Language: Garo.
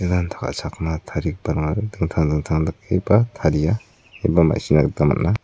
ranta ka·chakna tarigiparangara dingtang dingtang dakeba taria eba ma·sina gita man·a.